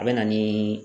A bɛ na ni